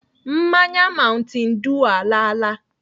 Mmanya mountain dew alaala.